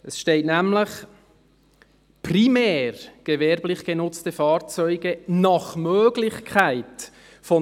Es steht nämlich: «primär gewerblich genutzte Fahrzeuge nach Möglichkeit […